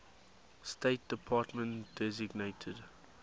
state department designated